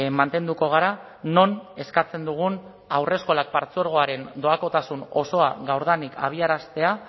mantenduko gara non eskatzen dugun haurreskolak partzuergoaren doakotasun osoa gaurdanik abiaraztea